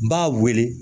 N b'a wele